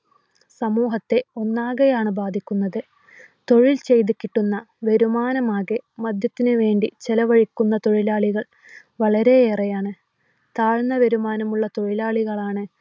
സമൂഹത്തെ ഒന്നാകെയാണ് ബാധിക്കുന്നത് തൊഴിൽ ചെയ്ത് കിട്ടുന്ന വരുമാനമാകെ മദ്യത്തിനു വേണ്ടി ചിലവാക്കുന്ന തൊഴിലാളികൾ വളരെയേറെയാണ്. താഴ്ന്ന വരുമാനമുള്ള തൊഴിലാളികളാണ്